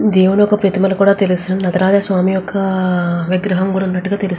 దేవుడి ఒక ప్రతిమలు కూడ తెలుసును నటరాజ స్వామి ఒక విగ్రహం కూడ ఉన్నటుగా తెలుస్తు --